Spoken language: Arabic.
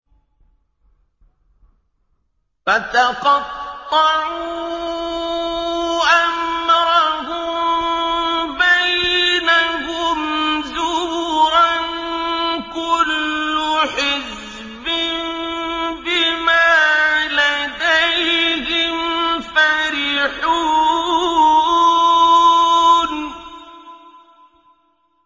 فَتَقَطَّعُوا أَمْرَهُم بَيْنَهُمْ زُبُرًا ۖ كُلُّ حِزْبٍ بِمَا لَدَيْهِمْ فَرِحُونَ